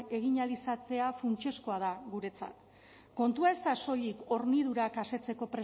egin ahal izatea funtsezkoa da guretzat kontua ez da soilik hornidurak asetzeko